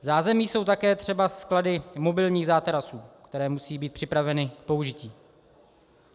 V zázemí jsou také třeba sklady mobilních zátarasů, které musí být připraveny k použití.